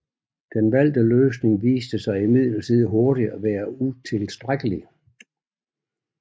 Den valgte løsning viste sig imidlertid hurtigt at være utilstrækkelig